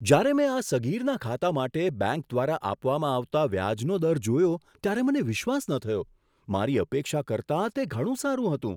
જ્યારે મેં આ સગીરના ખાતા માટે બેંક દ્વારા આપવામાં આવતા વ્યાજનો દર જોયો ત્યારે મને વિશ્વાસ ન થયો! મારી અપેક્ષા કરતાં તે ઘણું સારું હતું.